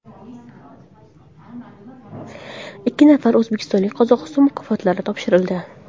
Ikki nafar o‘zbekistonlikka Qozog‘iston mukofotlari topshirildi.